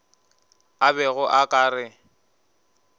a bego a ka re